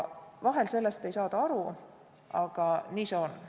Vahel ei saada sellest aru, aga nii see on.